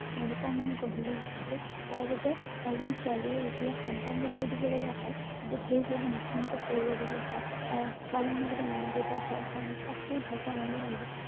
তেওঁলোকৰ মন গঢ়লৈ উঠিছিল যাৰ বাবে এজন ছোৱালীয়ে যেতিয়া সন্তান জন্ম দিব লগা হয় তেতিয়া সেই ছোৱালী জনী মৃত্যু মুখত পৰিব লগীয়া হয় কাৰণ ছোৱালী জনীৰ লগতে মাক দেউতাক ঘৰখনেই বা সেই ভালপোৱা মানুহ জনে বহুত